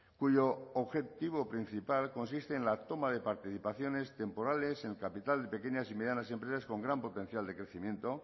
cuyo objetivo principal consiste en la toma de participaciones temporales en el capital de pequeñas y medianas empresas con gran potencial de crecimiento